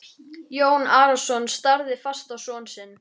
Jón Arason starði fast á son sinn.